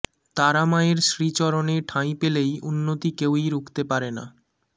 তারা মায়ের শ্রীচরণে ঠাঁই পেলেই উন্নতি কেউই রুখতে পারেনা